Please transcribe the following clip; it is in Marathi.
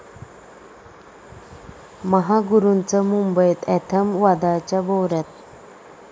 महागुरूंचं 'मुंबई अँथम' वादाच्या भोवऱ्यात